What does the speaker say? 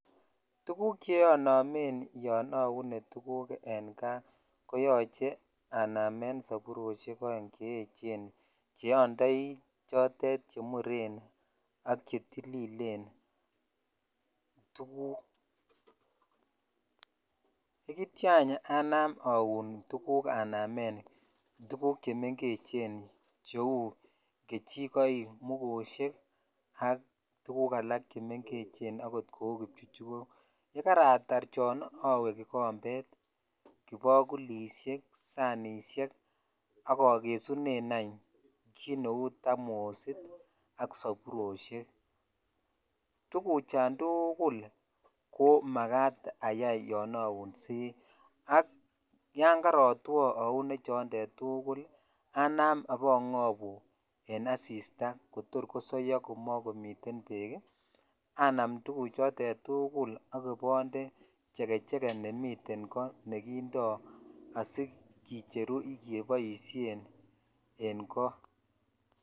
Tuguk che anomet yo aune tuguk en kaa ko yoche snamen saboroshek oeng che echen che andoi chotet che muren ak chetililen (puse)tugukakityo any anam aun anamen tuguk chemengechen cheu kechikoik mugoshek ak tuguk alak che mengechen kou kipchuchukok ye karatar chon awe kikombet ,kibakulishek ,sanishek ak agesunen any ji neu tamosit ak saboroshek tuguchan tugul ko makat sayai yan aunsei ak yan karatwo aune chonded tukul anam ibangobu en asiataa kotor kosoyo komokomiten bek i anam tuguchoton tugul ak ibonde chekecheke nemiten koo nekindo sikicheru keboisien en ko